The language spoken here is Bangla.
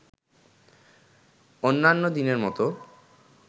অন্যান্য দিনের মতো